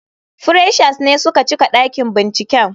Freshers ne suka cika dakin binciken.